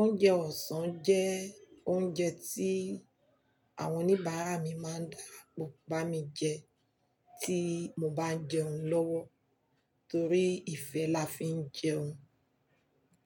Oúnjẹ ọ̀sán jẹ́ oúnjẹ tí àwọn oníbàárà mi máa ń dà pọ bá mi jẹ tí mo bá jẹun lọ́wọ́ torí ìfẹ́ la fi ń jẹun.